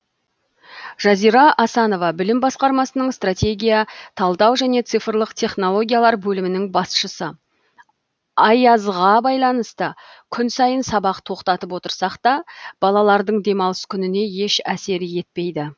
жазира асанова білім басқармасының стратегия талдау және цифрлық технологиялар бөлімінің басшысы аязға байланысты күн сайын сабақ тоқтатып отырсақ та балалардың демалыс күніне еш әсер етпейді